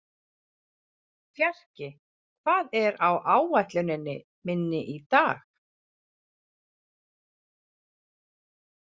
Fjarki, hvað er á áætluninni minni í dag?